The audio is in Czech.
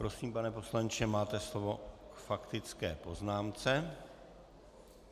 Prosím, pane poslanče, máte slovo k faktické poznámce.